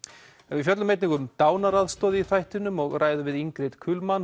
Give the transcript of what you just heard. við fjöllum einnig um dánaraðstoð í þættinum og ræðum við Ingrid